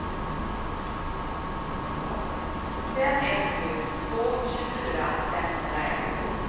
fem ett sju två tjugofyra femhundraett